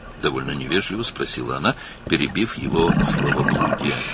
O, onun boşboğazlığını kəsərək, olduqca nəzakətsizcə soruşdu.